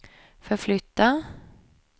förflytta